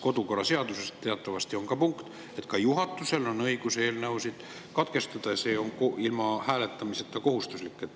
Kodukorraseaduses teatavasti on punkt, et juhatusel on õigus eelnõude menetlus katkestada ja see on ilma hääletamiseta kohustuslik.